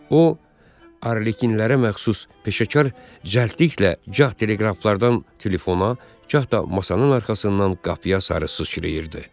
O arlekinlərə məxsus peşəkar cəldliklə gah teleqraflardan telefona, gah da masanın arxasından qapıya sarı sızçırəyirdi.